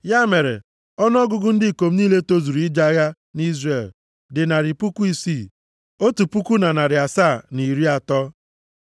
Ya mere, ọnụọgụgụ ndị ikom niile tozuru ije agha nʼIzrel dị narị puku isii, otu puku na narị asaa, na iri atọ (601,730).